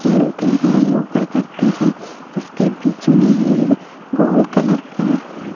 खेलते हैं योगा करते है इसके बीच में एक गोल कलर का--